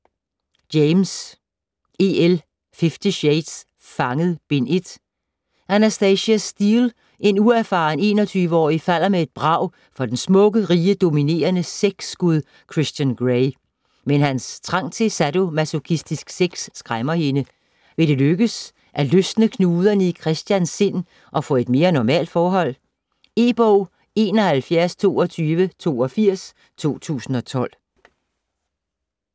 James, E. L.: Fifty shades: Fanget: Bind 1 Anastasia Steele, en uerfaren 21-årig, falder med et brag for den smukke, rige, dominerende sexgud Christian Grey. Men hans trang til sadomasochistisk sex skræmmer hende. Vil det lykkes at løsne knuderne i Christians sind og få et mere normalt forhold? E-bog 712282 2012.